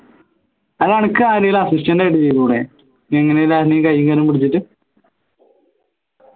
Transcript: അല്ല അനക്ക് ആരെയും assistant ആയി ചെയ്തൂടെ എങ്ങനെ ആരതലും കയ്യും കാലും പിടിച്ചിട്ട്